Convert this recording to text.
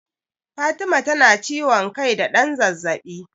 Fatima tana ciwon kai da ɗan zazzaɓi.